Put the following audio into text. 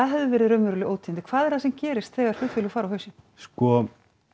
hefðu verið raunveruleg ótíðindi hvað er það sem gerist þegar flugfélög fara á hausinn sko